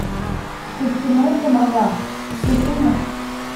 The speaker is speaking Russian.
костяной томагавк включи мне